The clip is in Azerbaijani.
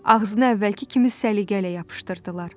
Ağzını əvvəlki kimi səliqəylə yapışdırdılar.